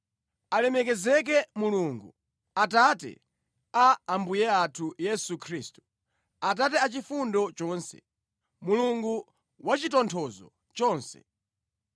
Alemekezeke Mulungu, Atate a Ambuye athu Yesu Khristu, Atate achifundo chonse, Mulungu wachitonthozo chonse.